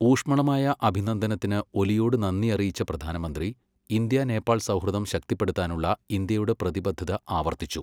ഊഷ്മളമായ അഭിനന്ദനത്തിനു ഒലിയോടു നന്ദി അറിയിച്ച പ്രധാനമന്ത്രി, ഇന്ത്യ നേപ്പാൾ സൗഹൃദം ശക്തിപ്പെടുത്താനുള്ള ഇന്ത്യയുടെ പ്രതിബദ്ധത ആവർത്തി ച്ചു.